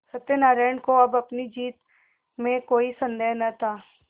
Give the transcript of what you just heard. सत्यनाराण को अब अपनी जीत में कोई सन्देह न था